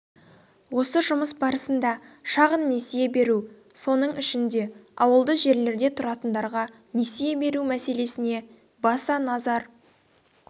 осы жұмыс барысында шағын несие беру соның ішінде ауылды жерлерде тұратындарға несие беру мәселесіне баса назар